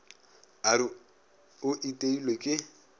a re o iteilwe ke